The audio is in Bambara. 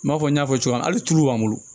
N b'a fɔ n y'a fɔ cogo min na hali tulu b'an bolo